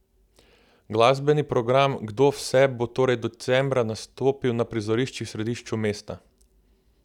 Glasbeni program Kdo vse bo torej decembra nastopil na prizoriščih v središču mesta?